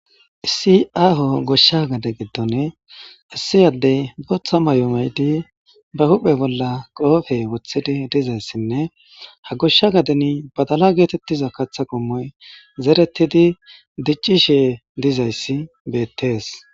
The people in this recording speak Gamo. issiaho goshsha gade giddone issiyaddey bootha mayomaydi ba huphe bolla qoofe wothidi dizayssinne ha goshsha gaden badala geetettiza katha qommoy zeretidi diccishe dizayssi beettees